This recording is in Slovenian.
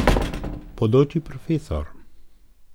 Bodoči profesor.